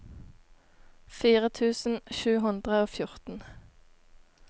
fire tusen sju hundre og fjorten